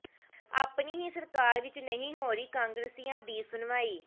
ਆਪਣੀ ਹੀ ਸਰਕਾਰ ਵਿੱਚ ਨਹੀਂ ਹੋ ਰਹੀ ਕਾਂਗਰਸੀਆਂ ਦੀ ਸੁਣਵਾਈ